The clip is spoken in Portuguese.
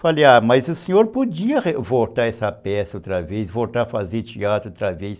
Falei, ah, mas o senhor podia voltar essa peça outra vez, voltar a fazer teatro outra vez.